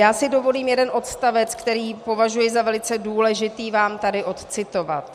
Já si dovolím jeden odstavec, který považuji za velice důležitý, vám tady odcitovat: